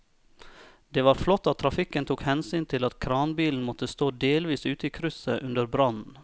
Det var flott at trafikken tok hensyn til at kranbilen måtte stå delvis ute i krysset under brannen.